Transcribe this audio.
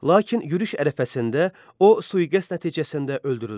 Lakin yürüş ərəfəsində o sui-qəst nəticəsində öldürüldü.